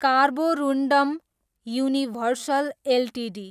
Carborundum Universal Ltd